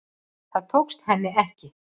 Það tókst henni ekki